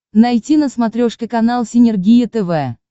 найти на смотрешке канал синергия тв